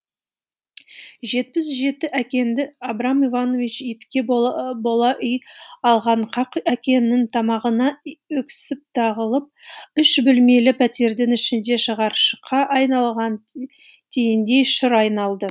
жетпіс жеті әкеңді абрам иванович итке бола үй алған қақ әкеңнің тамағына өксік тығылып үш бөлмелі пәтердің ішінде шығаршыққа айналған тиіндей шыр айналды